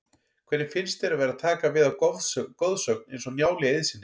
Hvernig finnst þér að vera að taka við af goðsögn eins og Njáli Eiðssyni?